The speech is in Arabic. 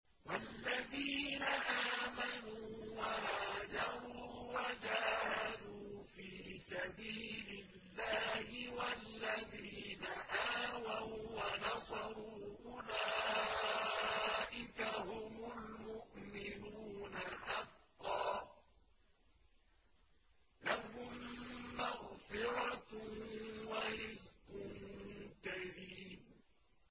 وَالَّذِينَ آمَنُوا وَهَاجَرُوا وَجَاهَدُوا فِي سَبِيلِ اللَّهِ وَالَّذِينَ آوَوا وَّنَصَرُوا أُولَٰئِكَ هُمُ الْمُؤْمِنُونَ حَقًّا ۚ لَّهُم مَّغْفِرَةٌ وَرِزْقٌ كَرِيمٌ